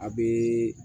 A bɛ